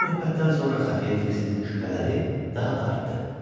Bu söhbətdən sonra Xəfiyə Fiksin şübhələri daha da artdı.